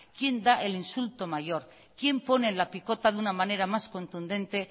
quién da el insulto mayor quién pone la picota de una manera más contundente